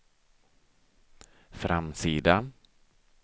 framsida